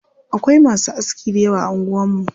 Akwai masu aski dayawa a anguwar mu.